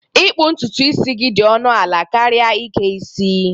Ịkpu ntutu gị dị ọnụ ala karịa ike isi